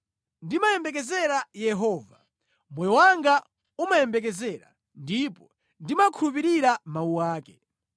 Ndimayembekezera Yehova, moyo wanga umayembekezera, ndipo ndimakhulupirira mawu ake.